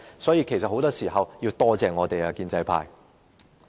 所以，建制派很多時候都應該多謝我們。